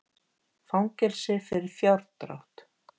Fangelsi fyrir fjárdrátt